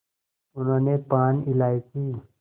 उन्होंने पान इलायची